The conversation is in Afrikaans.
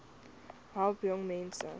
besp help jongmense